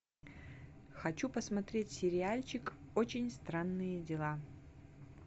хочу посмотреть сериальчик очень странные дела